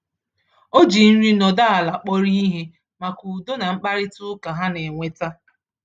Ọ ji nri nọdụ ala kpọrọ ihe maka udo na mkparịta ụka ha na-eweta.